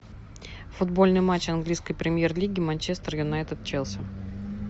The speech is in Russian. футбольный матч английской премьер лиги манчестер юнайтед челси